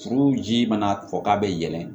Furu ji mana kɔ k'a bɛ yɛlɛn